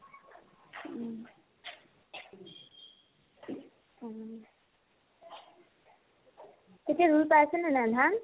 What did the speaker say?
কেতিয়া ৰুই পাইছানে নাই ধান ?